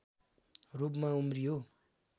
रूपमा उम्रियो